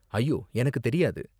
ஐயோ! எனக்கு தெரியாது